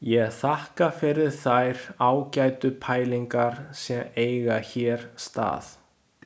Ég þakka fyrir þær ágætu pælingar sem eiga hér stað.